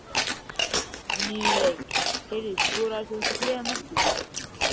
Í miðjum leik: Heyrðu, skoraðir þú ekki þriðja markið?